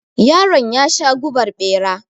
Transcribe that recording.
Yaron yasha gubar bera.